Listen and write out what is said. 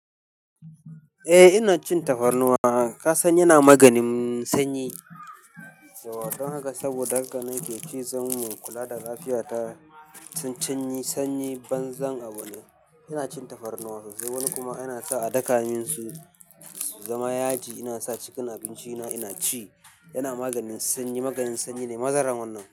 Eh ina cin tafarnuwa. Ka san yana maganin sanyi? To don haka saboda haka nake ci, zan kula da lafiyata. Tun canyi sanyi banzan abun ne ina cin tafarnuwa sosai. Wani kuma yana sa a daka mun su su zama yaji, ina sa cikin abinci na ina ci. Yana maganin sanyi, maganin sanyi ne mazaran wannan.